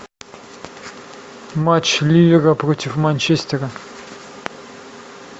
матч ливера против манчестера